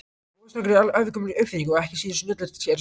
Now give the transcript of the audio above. Vogarstangir eru ævagömul uppfinning og ekki síður snjöll en skærin.